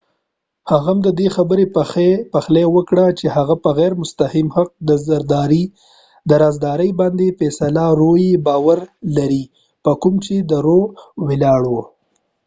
هغه هم ددې خبری پخلی وکړ چې هغه په غیر مستقیم حق د رازداری باندي باور لري په کوم چې د روroe فیصله ولاړه ده